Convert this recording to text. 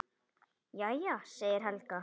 Jæja, segir Helga.